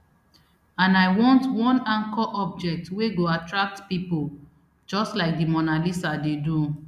and i want one anchor object wey go attract pipo just like di mona lisa dey do